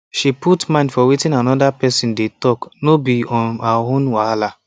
she put mind for wetin another person dey talk no be um her own wahala